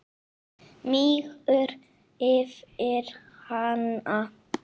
Mígur yfir hana.